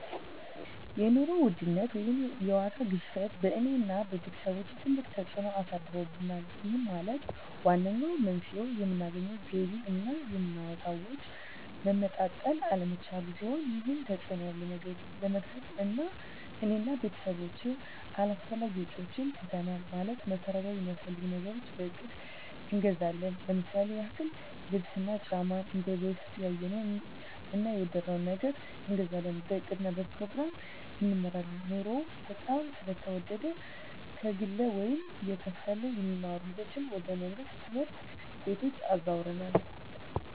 የኑሮ ውድነት ወይም የዋጋ ግሽበት በእኔ እና በቤተሰቦቸ ትልቅ ተፅእኖ አሳድሮብናል ይህም ማለት ዋነኛው መንስኤው የምናገኘው ገቢ እና የምናወጣው ወጪ መመጣጠን አለመቻሉን ሲሆን ይህንን ተፅዕኖ ለመግታት እኔ እና ቤተሰቦቸ አላስፈላጊ ወጪዎችን ትተናል ማለትም መሠረታዊ ሚያስፈልጉንን ነገሮች በእቅድ እንገዛለን ለምሳሌ ያክል ልብስ እና ጫማ እንደበፊቱ ያየነውን እና የወደድነውን ነገር አንገዛም በእቅድ እና በፕሮግራም እንመራለን ኑሮው በጣም ስለተወደደ ከግለ ወይም እየተከፈለ የሚማሩ ልጆችን ወደ መንግሥት ትምህርት ቤቶች አዘዋውረናል